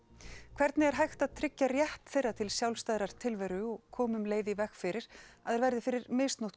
hvernig er hægt að tryggja rétt þeirra til sjálfstæðrar tilveru og koma um leið í veg fyrir að þær verði fyrir misnotkun